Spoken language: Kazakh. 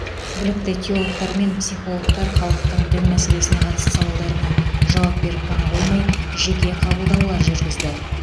білікті теологтар мен психологтар халықтың дін мәселесіне қатысты сауалдарына жауап беріп қана қоймай жеке қабылдаулар жүргізді